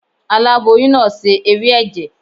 Aláboyún náà se ewé ẹ̀jẹ̀.